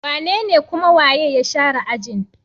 Wanene kuma waye ya share ajin?